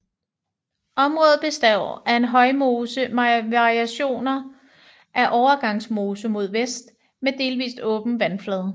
Området består af en højmose med variationer af overgangsmose mod vest med delvis åben vandflade